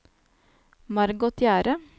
Margot Gjerde